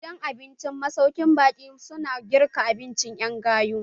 Gidan abincin masaukin baƙi su na girka abinci ƴan gayu.